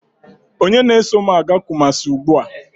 Onye na-eso m aga kumasi ugbua?